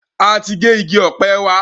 A ti gé igi ọ̀pẹ wa.